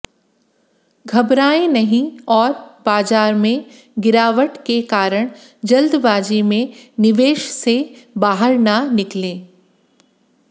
घबराएं नहीं और बाजार में गिरावट के कारण जल्दबाजी में निवेश से बाहर न निकलें